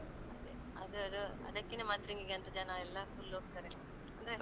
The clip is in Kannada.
ಅದೇ ಅದ ಅದಕ್ಕೆನೆ ಮದ್ರಂಗಿಗೆ ಅಂತ ಜನ ಎಲ್ಲ full ಹೋಗ್ತಾರೆ ಅಂದ್ರೆ.